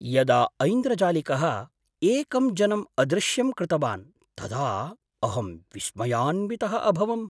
यदा ऐन्द्रजालिकः एकं जनम् अदृश्यं कृतवान् तदा अहं विस्मयान्वितः अभवम्।